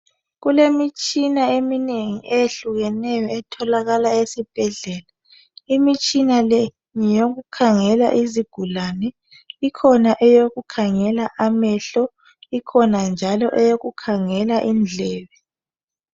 Kulemitshina eminengi eyehlukeneyo etholakala esibhedlela imitshina le ngeyokukhangela izigulane ikhona eyokukhangela amehlo ikhona njalo eyokukhangela indlebe.